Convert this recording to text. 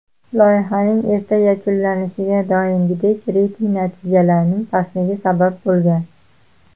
Loyihaning erta yakunlanishiga doimgidek reyting natijalarining pastligi sabab bo‘lgan.